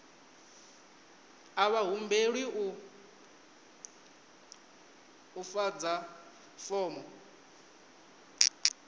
a vha humbelwi u ḓadza fomo